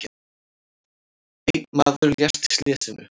Einn maður lést í slysinu.